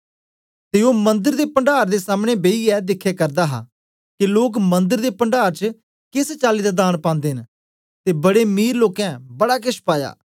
ते ओ मंदर दे पण्डार दे सामने बेईयै दिखे करदा हा के लोक मंदर दे पण्डार च केस चाली दांन पांदे न ते बड़े मीर लोकें बडा केछ पाया